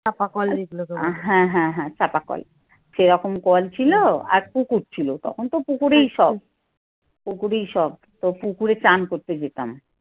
হ্যাঁ হ্যাঁ চাপা কল। সেরকম কল ছিল আর পুকুর ছিল তখন তো পুকুরেই সব। পুকুরেই সব তো পুকুরে চান করতে যেতাম।